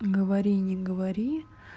говори не говори